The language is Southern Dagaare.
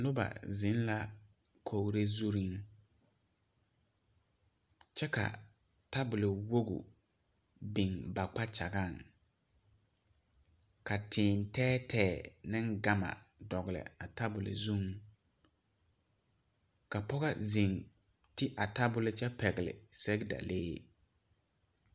Noba zeŋ la kogre zuŋ kyɛ ka tabol woge biŋ ba kpakyagaŋ ka tēē tɛɛtɛɛ neŋ gama dɔgle a tabol zuŋ ka pɔgɔ zeŋ te a tabol kyɛ pɛgle sɛgedalee.